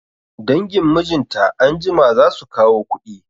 Dangin mijinta anjima zasu kawo kuɗi